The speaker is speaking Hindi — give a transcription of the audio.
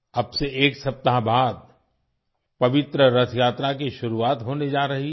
अब से एक सप्ताह बाद पवित्र रथ यात्रा की शुरुआत होने जा रही है